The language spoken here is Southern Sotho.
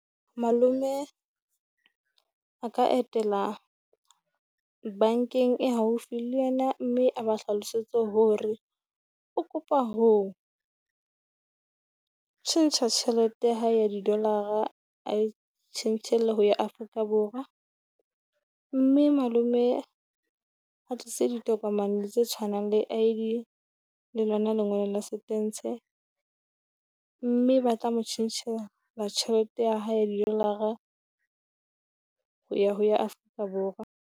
Malome a ka etela bankeng e haufi le yena, mme a ba hlalosetse hore o kopa ho tjhentjha tjhelete ya hae ya didolara, A e tjhentjhele ho ya Afrika Borwa. Mme malome a tlise ditokomane tse tshwanang le ID le lona lengolo la setentshe, mme ba tla mo tjhentjhela la tjhelete ya hae ya didolara ho ya ho ya Afrika Borwa.